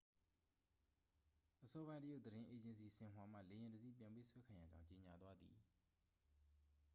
အစောပိုင်း တရုတ်သတင်း အေဂျင်စီ ဆင်ဟွာမှ လေယာဉ်တစ်စီး ပြန်ပေးဆွဲခံရကြောင်း ကြေငြာသွားသည်